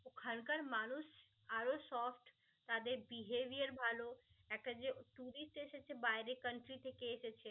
ওখানকার মানুষ আরও সৎ. তাদের behaviour ভাল একটা যে tourist এসেছে বাইরে country থেকে এসেছে